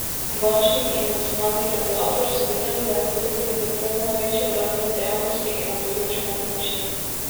Bančniki in nacionalni regulator so vedeli, da je bil kreditni bum največji v gradbeni dejavnosti in na področju nepremičnin.